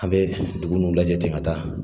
An bɛ dugu nun lajɛ ten ka taa.